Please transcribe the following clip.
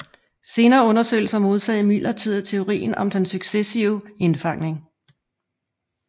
Senere undersøgelser modsagde imidlertid teorien om den successive indfangning